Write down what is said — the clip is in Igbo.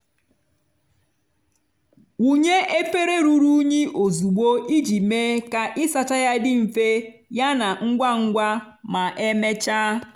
wunye efere ruru unyi ozugbo iji mee ka ịsacha ya dị mfe yana ngwa ngwa ma emechaa.